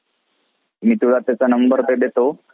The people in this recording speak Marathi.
मी तुला त्याचा number ते देतो.